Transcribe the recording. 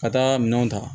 Ka taa minɛnw ta